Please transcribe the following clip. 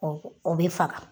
Ɔ o be faga